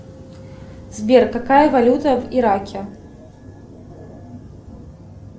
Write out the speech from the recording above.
сбер какая валюта в ираке